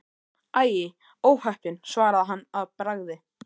Æi, óheppin svaraði hann að bragði.